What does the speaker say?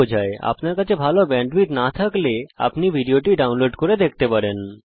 যদি আপনার কাছে ভালো ব্যান্ডউইডথ না থাকে তাহলে আপনি এটা ডাউনলোড করেও দেখতে পারেন